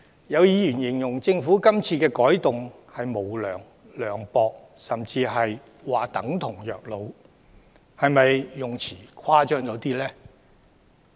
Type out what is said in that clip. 有議員形容政府今次的改動是無良、涼薄，甚至等於虐老，但這些用詞是否誇張了一點？